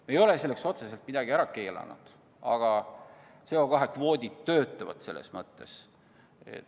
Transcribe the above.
Me ei ole selleks otseselt midagi ära keelanud, aga CO2 kvoodid töötavad hästi.